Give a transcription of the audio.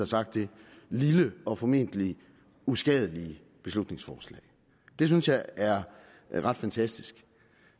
sagt det lille og formentlig uskadelige beslutningsforslag det synes jeg er ret fantastisk